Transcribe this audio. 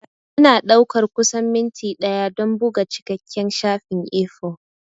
Yana ɗaukar kusan minti ɗaya don buga cikakken shafin A4.